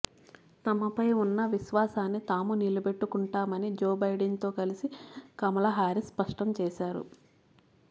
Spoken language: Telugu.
తమపై ఉన్న విశ్వాసాన్ని తాము నిలబెట్టుకుంటామని జో బైడెన్ తో కలిసి కమలా హారీస్ స్పష్టం చేశారు